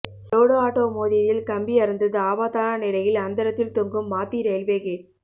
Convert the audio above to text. load auto மோதியதில் கம்பி அறுந்தது ஆபத்தான நிலையில் அந்தரத்தில் தொங்கும் மாத்தி ரயில்வே கேட்